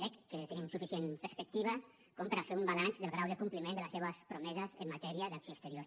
crec que tenim suficient perspectiva com per a fer un balanç del grau de compliment de les seves promeses en matèria d’acció exterior